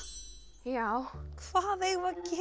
já hvað eigum við